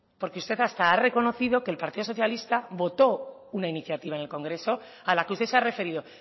porque usted hasta ha reconocido que el partido socialista votó una iniciativa en el congreso a la que usted se ha referido